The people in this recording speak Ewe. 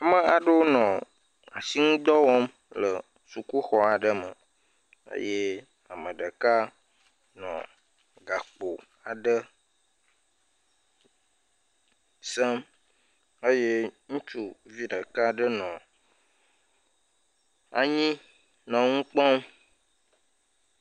Ame aɖewo nɔ asinŋudɔ wɔm le sukuxɔ aɖe me eye ame ɖeka nɔ gakpo aɖe sem eye ŋutsuvi ɖeka aɖe nɔ anyi nɔ ŋu kpɔm.